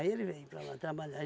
ele veio para lá trabalhar.